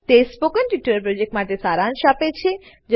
તે spoken tutorial પ્રોજેક્ટનો સારાંશ આપે છે